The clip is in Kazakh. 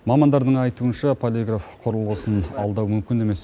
мамандардың айтуынша полиграф құрылысын алдау мүмкін емес